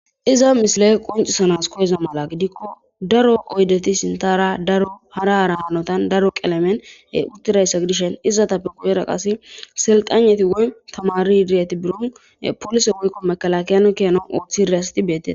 Iza misile qoncisanas koyeza mala gidikko daro oydeti sintara darharaara hanotan daro qelemen uttirayssa gidishen izata piquwera qase selxaneti woyn tamari irieti burun polise woykko mekala kiyano kiyanon ooththi riyasti beettees.